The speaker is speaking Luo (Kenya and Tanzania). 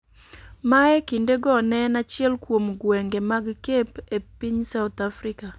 ma e kindego ne en achiel kuom gwenge mag Cape e piny South Africa.